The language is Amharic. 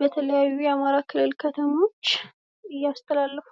በተለያዩ የአማራ ክልል ከተሞች እያስተላለፈ ነው።